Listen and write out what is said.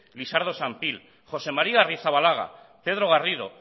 lisardo sanpíl josé maría arrizabalaga pedro garrido